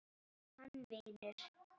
Hann vinur.